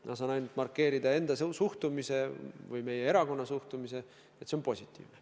Ma saan ainult markeerida enda suhtumise või meie erakonna suhtumise: see on positiivne.